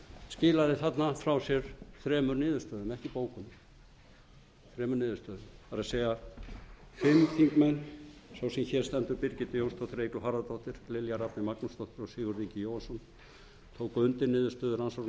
skilaði þarna frá sér þremur niðurstöðum ekki bókun þremur niðurstöðum það er fimm þingmenn sá sem hér stendur birgitta jónsdóttir eygló harðardóttir lilja rafney magnúsdóttir og sigurður jóhannsson tóku undir niðurstöðu rannsóknarnefndar þess efnis að fyrrgreindir fyrrverandi ráðherrar